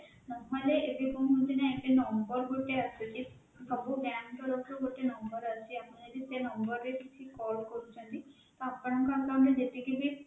ନହେଲେ ଏବେ କଣ ହଉଚି ନା ଏବେ number ଗୋଟେ ଆସୁଚି ସବୁ bank ତରଫରୁ ଗୋଟେ number ଆସୁଛି ଆମେ ଯଦି ସେଇ number ରେ କିଛି call କରୁଛନ୍ତି ତ ଆପଣଙ୍କ account ରେ ଯେତିକି ବି